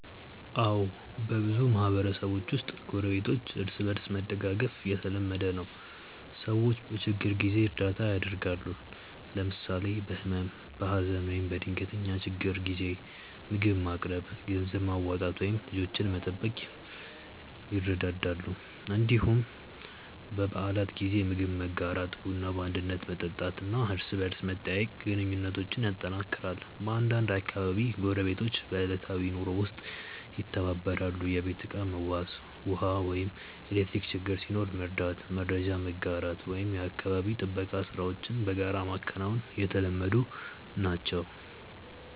አዎ፣ በብዙ ማህበረሰቦች ውስጥ ጎረቤቶች እርስ በእርስ መደጋገፍ የተለመደ ነው። ሰዎች በችግር ጊዜ እርዳታ ያደርጋሉ፣ ለምሳሌ በህመም፣ በሀዘን ወይም በድንገተኛ ችግር ጊዜ ምግብ ማቅረብ፣ ገንዘብ ማዋጣት ወይም ልጆችን መጠበቅ ይረዳዳሉ። እንዲሁም በበዓላት ጊዜ ምግብ መጋራት፣ ቡና በአንድነት መጠጣት እና እርስ በርስ መጠያየቅ ግንኙነቱን ያጠናክራል። በአንዳንድ አካባቢዎች ጎረቤቶች በዕለታዊ ኑሮ ውስጥም ይተባበራሉ፤ የቤት ዕቃ መዋስ፣ ውሃ ወይም ኤሌክትሪክ ችግር ሲኖር መርዳት፣ መረጃ መጋራት ወይም የአካባቢ ጥበቃ ሥራዎችን በጋራ ማከናወን የተለመዱ ናቸው።